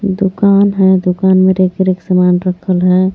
दुकान है दुकान में रिक्त रिक्त समान रखल है.